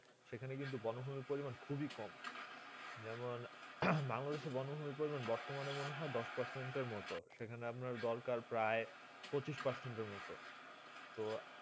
সেখানে কিন্তু বন ভূমি পরিমাণ খুবই কম যেমন বাংলাদেশে বন্য ভূমি পরিমাণ বর্তমানে মনে হয়ে দশ পার্সেন্টে মতুন সেখানে আপনার দোল কার প্রায় পঁচিশ পার্সেন্টে মতুন তো